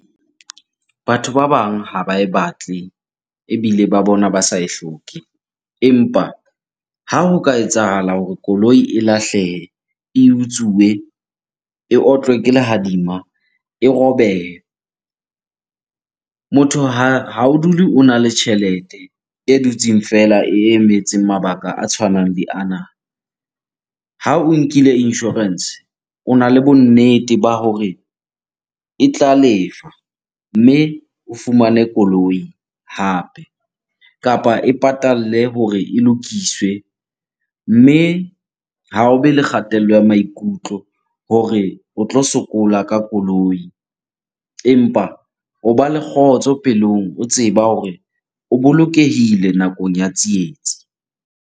Batho ba bang ha ba e batle ebile ba bona ba sa e hloke. Empa ha ho ka etsahala hore koloi e lahlehe, e utsuwe, e otlwe ke lehadima, e robehe. Motho ha o dule ona le tjhelete e dutseng feela e emetseng mabaka a tshwanang le ana. Ha o nkile insurance, ona le bonnete ba hore e tla lefa mme o fumane koloi hape kapa e patalle hore e lokiswe. Mme ha o be le kgatello ya maikutlo hore o tlo sokola ka koloi empa o ba le kgotso pelong o tseba hore o bolokehile nakong ya tsietsi.